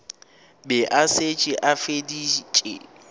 be a šetše a feditše